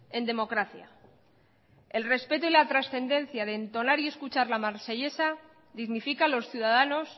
en democracia el respeto y la trascendencia de entonar y escuchar la marsellesa dignifica a los ciudadanos